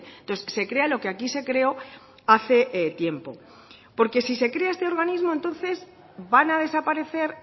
entonces se crea lo que aquí se creó hace tiempo porque si se crea este organismo entonces van a desaparecer